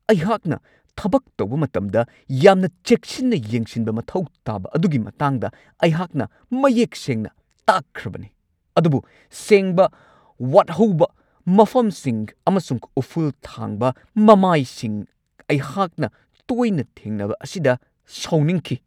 ꯑꯩꯍꯥꯛꯅ ꯊꯕꯛ ꯇꯧꯕ ꯃꯇꯝꯗ ꯌꯥꯝꯅ ꯆꯦꯛꯁꯤꯟꯅ ꯌꯦꯡꯁꯤꯟꯕ ꯃꯊꯧ ꯇꯥꯕ ꯑꯗꯨꯒꯤ ꯃꯇꯥꯡꯗ ꯑꯈꯟꯅꯅ ꯃꯌꯦꯛ ꯁꯦꯡꯅ ꯇꯥꯛꯈ꯭ꯔꯕꯅꯤ ꯑꯗꯨꯕꯨ ꯁꯦꯡꯕ ꯋꯥꯠꯍꯧꯕ ꯃꯐꯝꯁꯤꯡ ꯑꯃꯁꯨꯡ ꯎꯐꯨꯜ ꯊꯥꯡꯕ ꯃꯃꯥꯏꯁꯤꯡ ꯑꯩꯍꯥꯛꯅ ꯇꯣꯏꯅ ꯊꯦꯡꯅꯕ ꯑꯁꯤꯗ ꯁꯥꯎꯅꯤꯡꯈꯤ ꯫